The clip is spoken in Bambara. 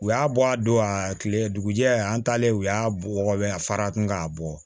U y'a bɔ a don a kile dugujɛ an talen u y'a wɔkɔ fara kun k'a bɔ